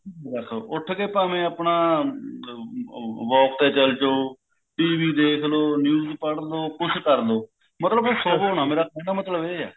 ਉੱਠ ਕੇ ਭਾਵੇਂ ਆਪਣਾ walk ਤੇ ਚੱਲ ਜੋ TV ਦੇਖਲੋ news ਪੜ੍ਹਲੋ ਕੁੱਛ ਕਰਲੋ ਮਤਲਬ ਸੋਵੋ ਨਾ ਮਤਲਬ ਮੇਰਾ ਕਹਿਣਾ ਇਹ ਹੈ